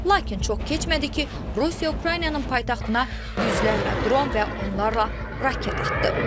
Lakin çox keçmədi ki, Rusiya Ukraynanın paytaxtına yüzlərlə dron və onlarla raket atdı.